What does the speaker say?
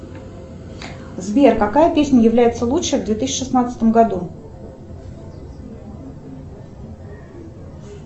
сбер какая песня является лучшей в две тысячи шестнадцатом году